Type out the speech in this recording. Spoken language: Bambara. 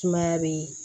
Sumaya be